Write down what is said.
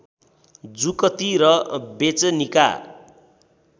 जुकती र बेचनीका